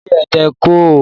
Ilé ẹ̀tẹ̀ kọ̀ ọ́